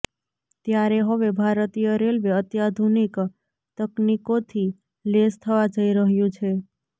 ત્યારે હવે ભારતીય રેલવે અત્યાધુનિક તકનીકોથી લેસ થવા જઈ રહ્યું છે